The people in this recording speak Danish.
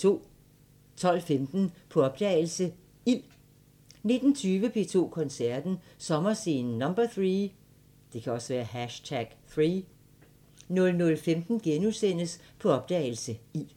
12:15: På opdagelse – Ild 19:20: P2 Koncerten – Sommerscenen #3 00:15: På opdagelse – Ild *